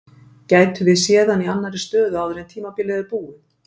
Gætum við séð hann í annarri stöðu áður en tímabilið er búið?